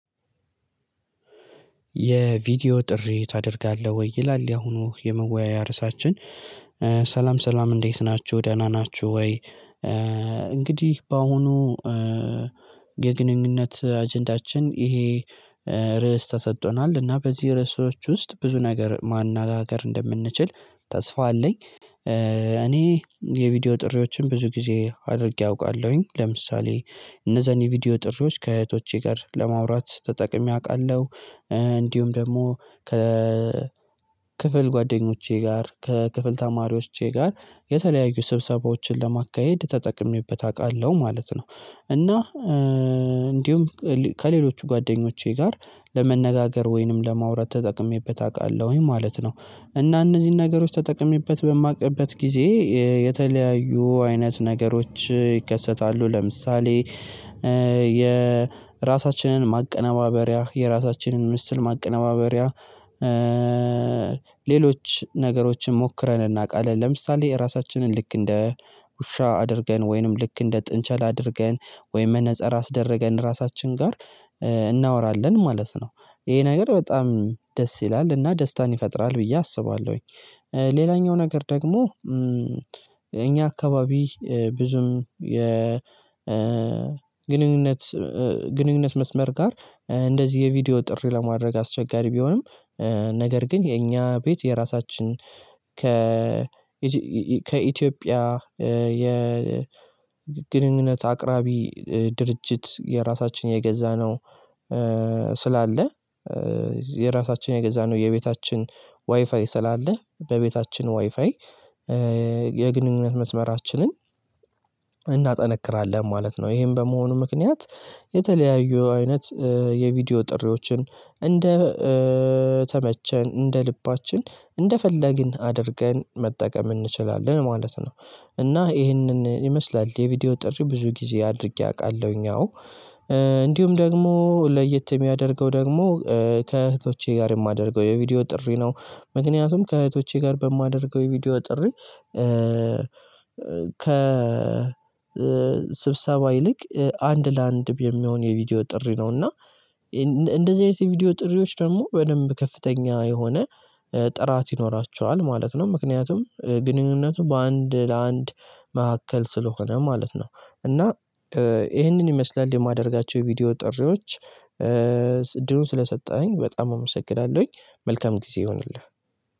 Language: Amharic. የቪዲዮ ጥሪ ታደርጋለህ ወይ? ይላል ያሁኑ የመወያያ ርዕሳችን ሰላም ሰላም እንዴት ናችሁ ደህና ናችሁ ወይ? እንግዲህ በአሁኑ የግንኙነት አጀንዳችን ይሄ ርዕስ ተሰጥቶናል እና በዚህ ርዕሶች ውስጥ ብዙ ነገር ማነጋገር እንደምንችል ተስፋ አለኝ እኔ የቪዲዮ ጥሪዎችን ብዙ ጊዜ አድርጌ አውቃለሁኝ ለምሳሌ እነዛን የቪዲዮ ጥሪዎች ከእህቶቼ ጋር ለማውራት ተጠቅሜ አውቃለሁ እንዲሁም ደግሞ ከ ክፍል ጓደኞቼ ጋር ከክፍል ተማሪዎቼ ጋር የተለያዩ ስብሰባዎችን ለማካሄድ ተጠቅሜበት አውቃለሁ ማለት ነው እና እንዲሁም ከሌሎች ጓደኞቼ ጋር ለመነጋገር ወይንም ለማውራት ተጠቅሜበት አውቃለሁኝ ማለት ነው እና እነዚህን ነገሮች ተጠቅሜበት በማውቅበት ጊዜ የተለያዩ አይነት ነገሮች ይከሰታሉ ለምሳሌ የራሳችንን ማቀነባበሪያ የራሳችንን ምስል ማቀናበሪያ ሌሎች ነገሮችን ሞክረን እናውቃለን ለምሳሌ ራሳችንን ልክ እንደ ውሻ አድርገን ወይንም ልክ እንደ ጥንቸል አድርገን ወይም መነፅር አስደረገን ራሳችን ጋር እናወራለን ማለት ነው። ይሄ ነገር በጣም ደስ ይላል እና ደስታን ይፈጥራል ብዬ አስባለሁኝ። ሌላኛው ነገር ደግሞ እኛ አካባቢ ብዙም የ ግንኙነት ግንኙነት መስመር ጋር እንደዚህ የቪዲዮ ጥሪ ለማድረግ አስቸጋሪ ቢሆንም ነገር ግን የኛ ቤት የራሳችን ከ ከኢትዮጵያ የግንኙነት አቅራቢ ድርጅት የራሳችን የገዛ ነው ስላለ የራሳችን የገዛ ነው የቤታችን ዋይፋይ ስላለ በቤታችን ዋይፋይ የግንኙነት መስመራችንን እናጠነክራለን ማለት ነው። ይሄን በመሆኑ ምክንያት የተለያዩ አይነት የቪዲዮ ጥሪዎችን እንደተመቸን እንደልባችን እንደፈለግን አድርገን መጠቀም እንችላለን ማለት ነው። እና ይሄንን ይመስላል የቪዲዮ ጥሪ ብዙ ጊዜ አድርጌ አውቃለሁኝ አዎ። ደግሞ ለየት የሚያደርገው ደግሞ ከእህቶቼ ጋር የማደርገው የቪዲዮ ጥሪ ነው ምክንያቱም ከእህቶቼ ጋር በማደርገው የቪዲዮ ጥሪ ከ ስብሰባ ይልቅ አንድ ለአንድ የሚሆን የቪዲዮ ጥሪ ነው እና እንደዚህ አይነት የቪዲዮ ጥሪዎች ደግሞ በደንብ ከፍተኛ የሆነ ጥራት ይኖራቸዋል ማለት ነው። ምክንያቱም ግንኙነቱ በአንድ ለአንድ መካከል ስለሆነ ማለት ነው። እና ይህንን ይመስላል የማደርጋቸው ቪዲዮ ጥሪዎች እድሉን ስለሰጠኸኝ በጣም አመሰግናለሁኝ መልካም ጊዜ ይሁንልህ።